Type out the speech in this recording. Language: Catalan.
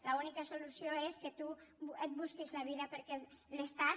l’úni·ca solució és que tu et busquis la vida perquè l’estat